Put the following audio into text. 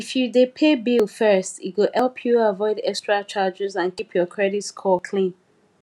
if you dey pay bill first e go help you avoid extra charges and keep your credit score clean